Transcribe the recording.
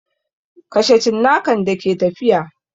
Kashe cinnakan da ke tafiya!